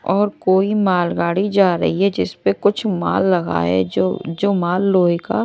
और कोई मालगाड़ी जा रही है जिस पे कुछ माल लगा है जो जो माल लोहे का--